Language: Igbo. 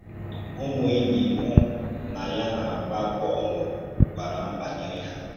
Ụ́mù enýì mụ na ya na-àgbá bọ̀l gwàrà m bànyèrè hà.